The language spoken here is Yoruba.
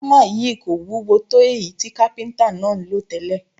Ámà yìí kò wúwo tó èyí tí kápíntà náà ń lò tẹ́lẹ̀